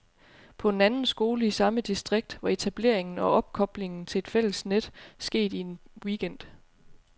På en anden skole i samme distrikt var etableringen og opkoblingen til et fælles net sket i en weekend.